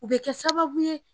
O be kɛ sababu ye.